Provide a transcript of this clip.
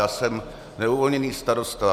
Já jsem neuvolněný starosta.